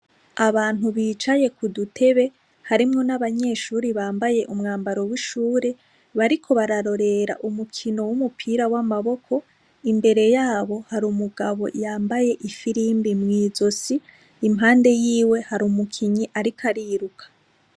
Abantu bicaye ku dutebe harimwo n'abanyeshuri bambaye umwambaro w'ishure bariko bararorera umukino w'umupira w'amaboko imbere yabo hari umugabo yambaye ifilimbi mw'izosi impande yiwe hari umukinyi, ariko ariruka.